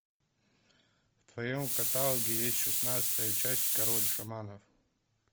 в твоем каталоге есть шестнадцатая часть король шаманов